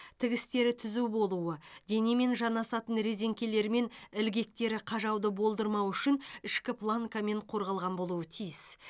тігістері түзу болуы денемен жанасатын резеңкелері мен ілгектері қажауды болдырмау үшін ішкі планкамен қорғалған болуы тиіс